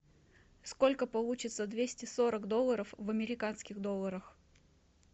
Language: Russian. сколько получится двести сорок долларов в американских долларах